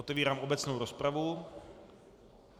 Otevírám obecnou rozpravu.